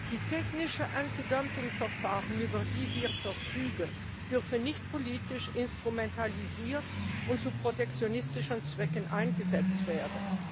Die technischen Antidumpingverfahren, über die wir verfügen, dürfen nicht politisch instrumentalisiert und zu protektionistischen Zwecken eingesetzt werden.